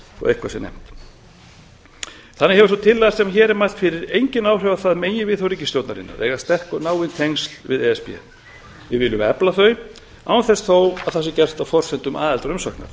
sé nefnt þannig hefur sú tillaga sem hér er mælt fyrir engin áhrif á það meginviðhorf ríkisstjórnarinnar að eiga sterk og náin tengsl við e s b við viljum efla þau án þess þó að að sé gert á forsendum aðildarumsóknar